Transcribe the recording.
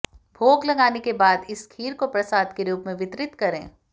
भोग लगाने के बाद इस खीर को प्रसाद के रूप में वितरित करें